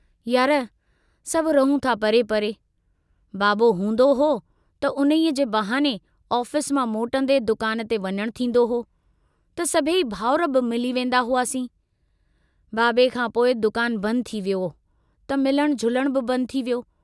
यार, सभ रहूं था परे परे, बाबो हूंदो हो त उन्हीअ जे बहाने ऑफिस मां मोटंदे दुकान ते वञण थींदो हो त सभेई भाउर बि मिली वेन्दा हुआसीं, बाबे खां पोइ दुकान बंद थी वियो त मिलण झुलण बि बंद थी वियो।